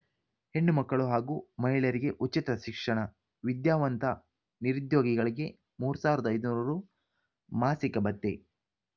ಹೆಣ್ಣು ಮಕ್ಕಳು ಹಾಗೂ ಮಹಿಳೆಯರಿಗೆ ಉಚಿತ ಶಿಕ್ಷಣ ವಿದ್ಯಾವಂತ ನಿರುದ್ಯೋಗಿಗಳಿಗೆ ಮೂರ್ ಸಾವಿರದ ಐದುನೂರು ರು ಮಾಸಿಕ ಭತ್ಯೆ